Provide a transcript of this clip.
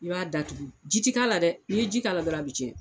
I b'a datugu, ji tɛ k'a la dɛ, n'i ye ji k'a la dɔrɔnw, ka b'a bɛɛ cɛn.